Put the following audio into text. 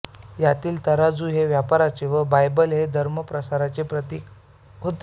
यातील तराजू हे व्यापाराचे व बायबल हे धर्म प्रसाराचे प्रतीक होते